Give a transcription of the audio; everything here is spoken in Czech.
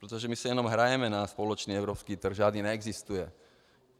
Protože my si jenom hrajeme na společný evropský trh - žádný neexistuje.